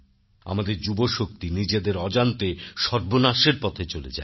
আমাদের যুবশক্তি নিজেদের অজান্তে সর্বনাশের পথে চলে যায়